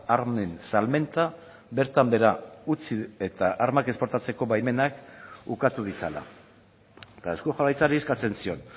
armen salmenta bertan behera utzi eta armak esportatzeko baimenak ukatu ditzala eta eusko jaurlaritzari eskatzen zion